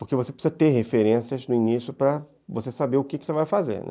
Porque você precisa ter referências no início para você saber o que você vai fazer.